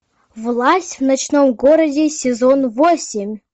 власть в ночном городе сезон восемь